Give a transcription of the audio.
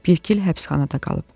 Bir il həbsxanada qalıb.